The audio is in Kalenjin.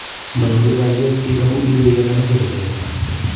manyoru kalyet biik amu iywei kenam iche agebar.